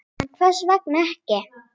En hvers vegna ekki?